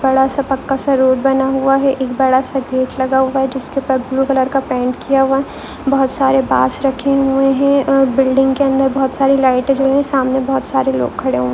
बड़ासा पक्कासा रोड बना हूआ है एक बड़ा सा गेट लगा हुआ है जिसके ऊपर ब्लू कलर का पेंट किया हुआ है बहुत सारे बास रखी हुई है और बिल्डिंग के अंदर बहुत सारे लाइटे जली हुयी है सामने बहुत सारे लोग खडे हुए है।